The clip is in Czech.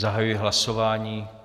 Zahajuji hlasování.